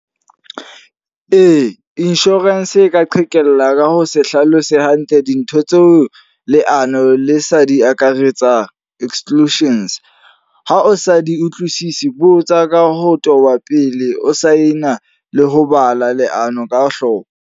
Ee, insurance e ka qhekella ka ho se hlalose hantle dintho tseo leano le sa di akaretsa, exclusions. Ha o sa di utlwisisi, botsa ka ho toba pele o sign-a le ho bala leano ka hloko.